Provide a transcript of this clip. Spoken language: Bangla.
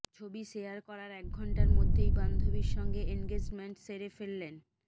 ছবি শেয়ার করার এক ঘণ্টার মধ্যেই বান্ধবীর সঙ্গে এনগেজমেন্ট সেরে ফেলেন